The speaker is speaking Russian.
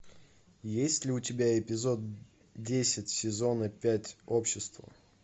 есть ли у тебя эпизод десять сезона пять общество